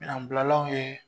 Anbilalanw ye